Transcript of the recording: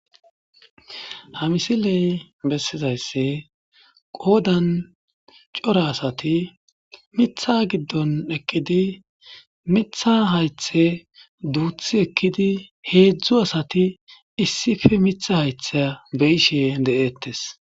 Ha misiley bessizaysse qoodan cora asati mitha giddon ekkidi mitha haythe duuthi ekkidi heedzdzu asati issife mitha haythe beyishe de7eettes